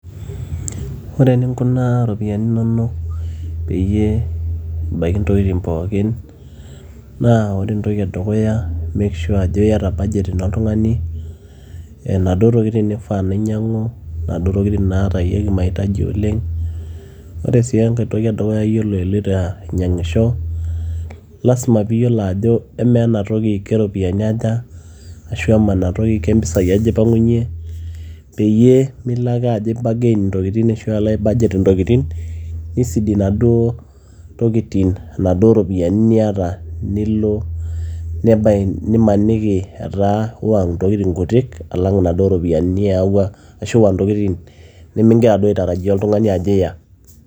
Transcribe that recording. ore eninkunaa iropiyiani inonok peyie ebaiki intokitin pookin naa make sure ajo iyata budget ino oltung'ani naduo tokitin nifaa nainyiang'u naduo tokitin naatayieki maitaji oleng ore sii enkae toki edukuya yiolo iloito ainyiang'isho lasima piiyiolo ajo emaa ena toki keropiyiani aja ashu amaa enatoki kempisai aja ipang'unyie peyie milo ake ajo ae bargain intokitin ashu alo ae budget intokitin nisidi inaduo tokitin inaduo ropiyiani niata nilo nimaniki etaa iwa ntokitin kutik alang inaduo ropiyiani niyawua ashu iwa ntokitin nemigira duo aitarajia oltung'ani ajo iya.